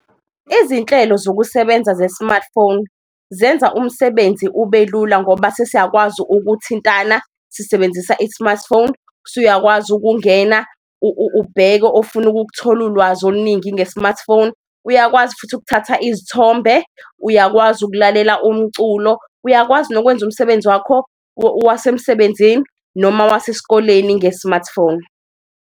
Izinhlelo zokusebenza ze-smartphone zenza umsebenzi ubelula ngoba sesiyakwazi ukuthintana sisebenzisa i-smartphone, usuyakwazi ukungena ubheke ofuna ukuthola ulwazi oluningi nge-smartphone. Uyakwazi futhi ukuthatha izithombe, uyakwazi ukulalela umculo, uyakwazi nokwenza umsebenzi wakho wasemsebenzini noma wasesikoleni nge-smartphone.